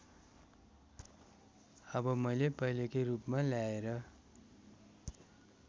अब मैले पहिलेकै रूपमा ल्याएर